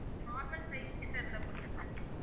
normal size கிட்ட இருந்தா போதும் sir